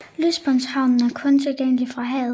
Lystbådehavnen er kun tilgængelig fra havet